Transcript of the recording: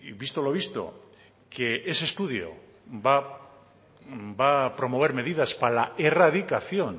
visto lo visto que ese estudio va a promover medidas para la erradicación